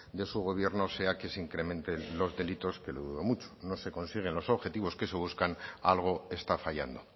de su gobierno sea que se incrementen los delitos que lo dudo mucho no se consiguen los objetivos que se buscan algo está fallando